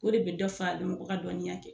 O de be dɔ fa mɔgɔ ka dɔnniya kɛ.